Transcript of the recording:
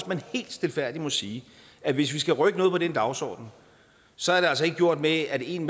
man helt stilfærdigt må sige at hvis vi skal rykke noget på den dagsorden så er det altså ikke gjort med at en